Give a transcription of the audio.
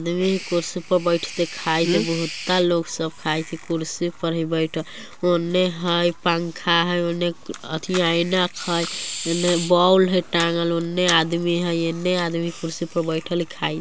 कुर्सी पर बैठेते खायले बहुता लोग सब खाय छे कुर्सी पर ही बैठ उने हय पंखा हय उने अथी ऐनक हय इने बोल हय टांगल उने आदमी हय इने आदमी कुर्सी पर बैठल खाय --